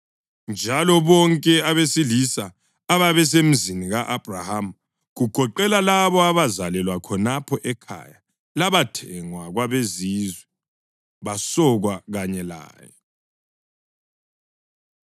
Njalo bonke abesilisa ababesemzini ka-Abhrahama, kugoqela labo abazalelwa khonapho ekhaya labathengwa kwabezizwe, basokwa kanye laye.